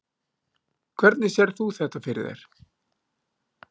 Hvernig sérð þú þetta fyrir þér?